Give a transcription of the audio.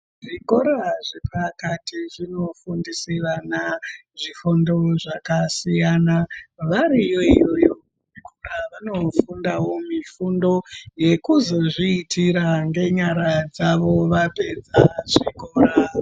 Zvikora zvepakati zvinofundise vana zvifundo zvakasiyana. Variyo iyoyo kuzvikora vanofundawo mifundo yekuzozviitira ngenyara dzavo vapedza zvikora.